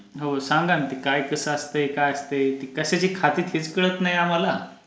हो सांगा ना ते काय कसं असतय? काय असतय? ती कशाची खाती तेच कळत नाही आम्हाला.